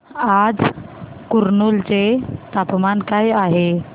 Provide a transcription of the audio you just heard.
आज कुरनूल चे तापमान काय आहे